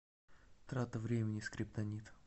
трата времени скриптонит